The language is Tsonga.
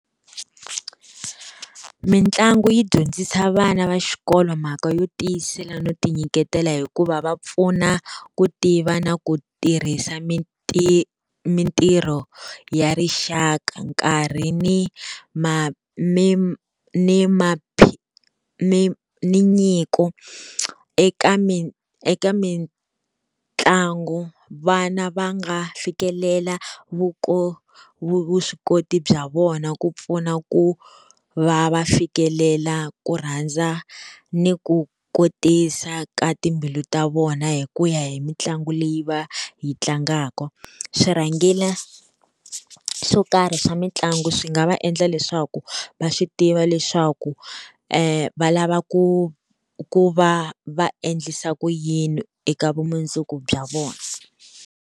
Mitlangu yi dyondzisa vana va xikolo mhaka yo tiyisela no ti nyiketela hikuva va pfuna ku tiva na ku tirhisa mintirho ya rixaka, nkarhi ni ni nyiko. Eka mi eka mitlangu vana va nga fikelela vuswikoti bya vona ku pfuna ku va va fikelela ku rhandza ni ku kotisa ka timbilu ta vona, hi ku ya hi mitlangu leyi va yi tlangaka. Swirhangela swo karhi swa mitlangu, swi nga va endla leswaku va swi tiva leswaku va lava ku ku va va endlisa ku yini eka vumundzuku bya vona.